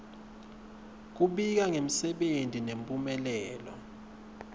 kubika ngemsebenti nemphumelelo